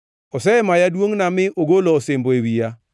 Osemaya duongʼna mi ogolo osimbo e wiya.